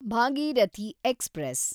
Bhagirathi express